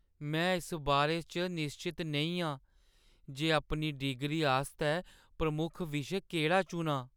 मैं इस बारे च निश्चत नेईं आं जे अपनी डिग्री आस्तै मैं प्रमुख विशे केह्ड़ा चुनां ।